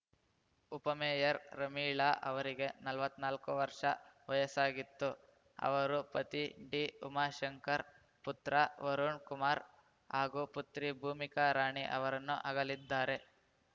ಉಪಮೇಯರ್ ರಮೀಳಾ ಅವರಿಗೆ ನಲವತ್ತ್ನಾಲ್ಕು ವರ್ಷ ವಯಸ್ಸಾಗಿತ್ತು ಅವರು ಪತಿ ಡಿಉಮಾಶಂಕರ್‌ ಪುತ್ರ ವರುಣ್‌ ಕುಮಾರ್‌ ಹಾಗೂ ಪುತ್ರಿ ಭೂಮಿಕಾ ರಾಣಿ ಅವರನ್ನು ಅಗಲಿದ್ದಾರೆ